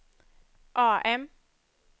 AM